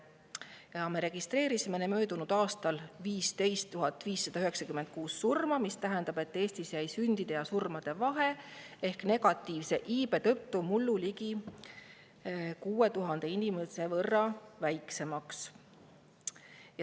Möödunud aastal registreeriti 15 596 surma, mis tähendab, et Eesti jäi mullu sündide ja surmade vahe ehk negatiivse iibe tõttu ligi 6000 inimese võrra väiksemaks.